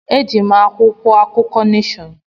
Eji m akwụkwọ akụkọ Neshọn.